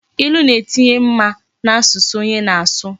Ilu na etinye mma na asusu onye na asu